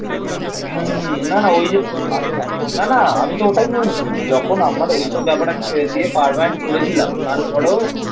হুম হুম না না ওই না না আমি তো ওটাই বলছি. যখন আমার ওইসব ব্যাপারে আমি ছেড়ে দিয়ে পার্মানেন্ট করেছিলাম. তারপরেও